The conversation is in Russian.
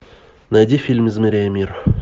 найди фильм измеряя мир